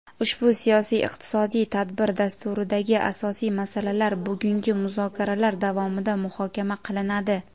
Ushbu siyosiy-iqtisodiy tadbir dasturidagi asosiy masalalar bugungi muzokaralar davomida muhokama qilinadi.